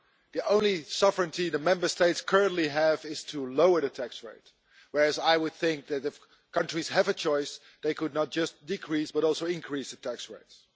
The only sovereignty the Member States currently have is to lower the tax rate, whereas I would think that if countries had a choice, they could not just decrease, but also increase the tax rates.